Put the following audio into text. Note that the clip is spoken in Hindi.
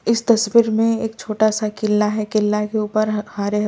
इस तस्वीर में एक छोटा सा किला है किला के ऊपर हरे --